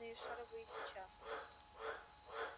импортные шаровые сейчас